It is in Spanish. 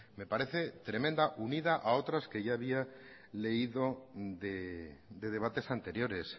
me parece tremenda unida a otras que ya había leído de debates anteriores